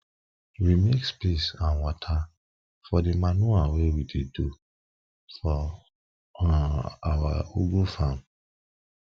we mix piss and wata for de manure wey we do for um awa ugu farm